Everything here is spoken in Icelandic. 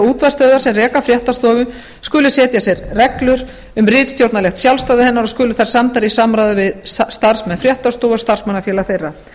útvarpsstöðvar sem reka fréttastofu skuli setja sér reglur um ritstjórnarlegt sjálfstæði hennar og skuli þær samdar í samráði við starfsmenn fréttastofu og starfsmannafélög þeirra